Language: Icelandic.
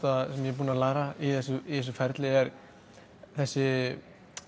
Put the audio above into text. sem ég búinn að læra í þessu ferli er þessi